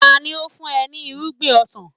Tani ó fún ọ ní irúgbìn ọsàn?